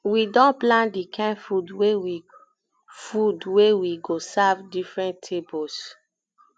we don plan di kain food wey we food wey we go serve different tables